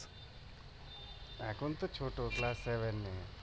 এখনতো ছোট